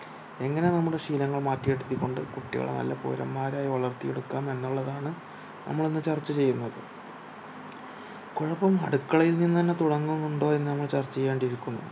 എങ്ങനെ നമ്മുടെ ശീലങ്ങൾ മാറ്റിയെടുത്തികൊണ്ട് കുട്ടികളെ നല്ല പൗരന്മാരായി വളർത്തി എടുക്കാം എന്നുള്ളതാണ് നമ്മൾ ഇന്ന് ചർച്ച ചെയ്യുന്നത് കൊഴപ്പം അടുക്കളയിൽ നിന്നുതന്നെ തുടങ്ങുന്നുണ്ടോ എന്ന് നമ്മൾ ചർച്ച ചെയ്യേണ്ടിയിരിക്കുന്നു